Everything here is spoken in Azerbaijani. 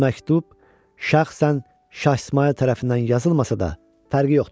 Bu məktub şəxsən Şah İsmayıl tərəfindən yazılmasa da, fərqi yoxdur.